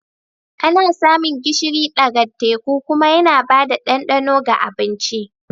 Ana samun gishiri ɗaga teku kuma yana ba da ɗandano ga abinci.